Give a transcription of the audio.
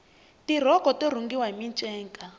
tirhoko to rhungiwa hi minceka